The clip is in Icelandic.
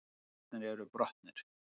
Speglarnir eru brotnir